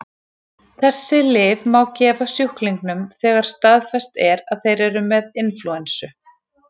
Þessi lyf má gefa sjúklingum þegar staðfest er að þeir eru með inflúensu.